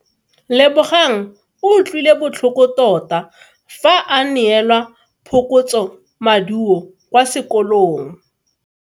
Lebogang o utlwile botlhoko tota fa a neelwa phokotsomaduo kwa sekolong.